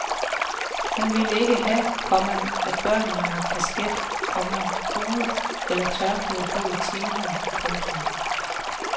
Han ville ikke have, komma at børnene har kasket, komma hue eller tørklæde på i timen. punktum